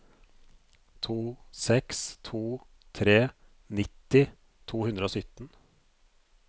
to seks to tre nitti to hundre og sytten